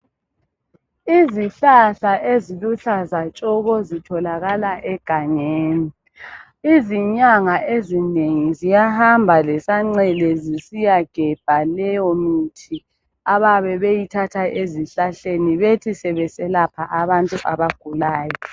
Izihlahla eziluhlaza tshoko zitholakala egangeni. Izinyanga ezinengi ziyahamba lesancele zisiyagebha leyo mithi abayabe beyithatha ezihlahleni bethi sebeselapha abantu abagulayo.